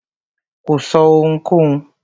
Kò sọ́ ohunkóhun.